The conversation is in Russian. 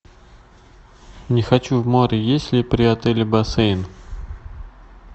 не хочу в море есть ли при отеле бассейн